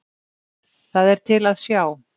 Það er til að sjá.